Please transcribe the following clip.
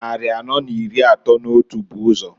Nnari anọọ n'iri atọọ n'otu bu ụzọ.